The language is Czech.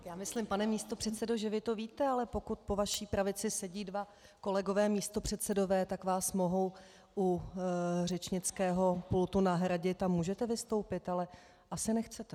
Já myslím, pane místopředsedo, že vy to víte, ale pokud po vaší pravici sedí dva kolegové místopředsedové, tak vás mohou u řečnického pultu nahradit a můžete vystoupit, ale asi nechcete.